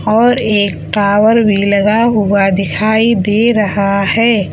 और एक टावर भी लगा हुआ दिखाई दे रहा है।